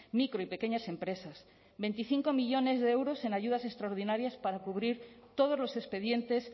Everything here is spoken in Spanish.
micro y pequeñas empresas veinticinco millónes de euros en ayudas extraordinarias para cubrir todos los expedientes